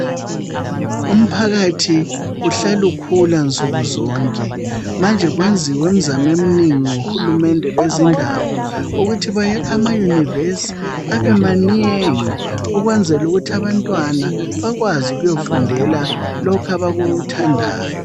Umphakathi uhlala ukhula nsuku zonke manje kwenziwe imzamo eminengi ngohulumende bezindawo ukuthi bayakhe ama University abe manengi ukwenzela ukuthi abantwana bakwazi ukuyofundela lokhu abakuthandayo